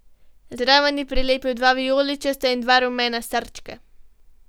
Zraven je prilepil dva vijoličasta in dva rumena srčka.